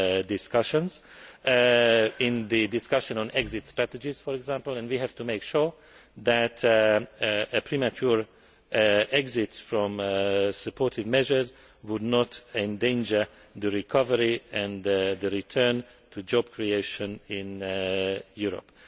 economic discussions in the discussion on exit strategies for example and we have to make sure that a premature exit from supportive measures would not endanger the recovery and a return to job creation in